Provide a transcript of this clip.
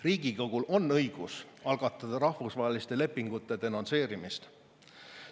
Riigikogul on õigus algatada rahvusvaheliste lepingute denonsseerimist.